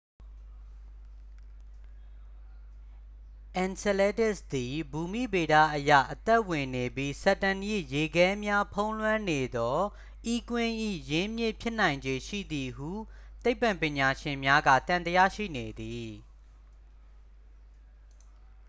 enceladus သည်ဘူမိဗေဒအရ အသက်ဝင်နေပြီး saturn ၏ ရေခဲများဖုံးလွှမ်းနေသော e ကွင်း၏ရင်းမြစ် ဖြစ်နိုင်ခြေရှိသည်ဟု သိပ္ပံပညာရှင်များက သံသယရှိနေသည်